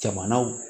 Jamanaw